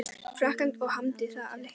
Frakklandi og hamdi það af leikni.